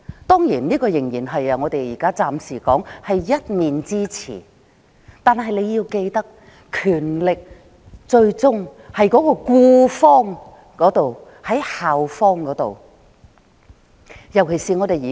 當然，這情境暫時只是我們一面之詞，但大家要記得權力最終在僱方，即校方。